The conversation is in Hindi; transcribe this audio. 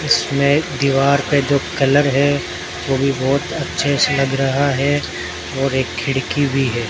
इसमें दीवार पर जो कलर है वह भी बहुत अच्छे से लग रहा है और एक खिड़की भी है।